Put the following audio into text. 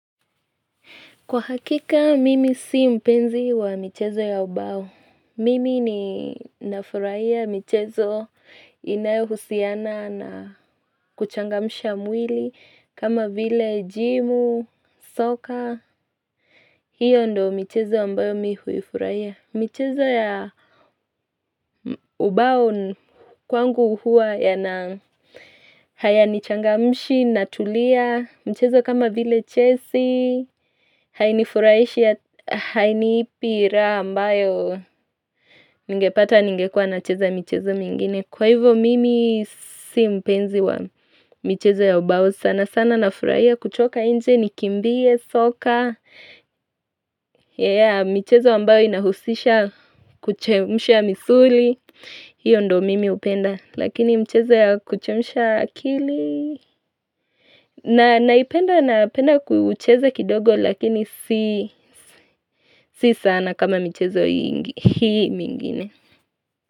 Kwa hakika, mimi sio mpenzi wa michezo ya ubao. Mimi ninafuraia michezo inayohusiana na kuchangamsha mwili kama vile jimu, soka. Hiyo ndiyo michezo ambayo mimi huifurahia. Michezo ya ubao, kwangu huwa yana hayanichangamshi, natulia, michezo kama vile chesi hainifurahishi, hainipi raha ambayo ningepata ngekuwa nacheza michezo mengine Kwa hivyo mimi sio mpenzi wa michezo ya ubao sana sana nafurahia kutoka nje nikimbie soka michezo ambayo inahusisha kuchemusha misuli hiyo ndiyo mimi hupenda lakini mchezo ya kuchemsha akili naipenda napenda kuucheza kidogo lakini sio sana kama michezo hii mingine.